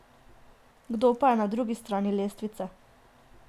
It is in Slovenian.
Kdo pa je na drugi strani lestvice?